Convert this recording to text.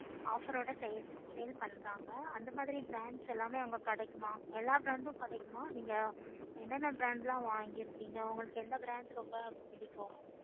offer ஓட sale பண்றாங்க அந்த மாதிரி brands எல்லாமே அங்க கிடைக்குமா எல்லாத்துல brands இருந்தும் கிடைக்குமா நீங்க என்ன என்ன brand வாங்கி இருக்கீங்க உங்களுக்கு எந்த brand புடிக்கும்